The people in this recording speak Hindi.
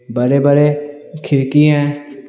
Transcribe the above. बड़े बड़े खिड़की हैं।